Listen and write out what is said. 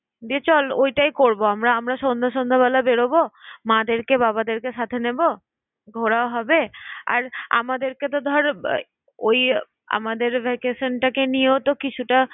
দিয়ে চল ঐটাই করব আমরা। আমরা সন্ধ্যে~ সন্ধ্যেবেলা বেরোবো মাদেরকে বাবাদেরকে সাথে নেব, ঘোরাও হবে। আর আমাদেরকেতো ধর ওই আমাদের vacation টাকে নিয়েও তো কিছুটা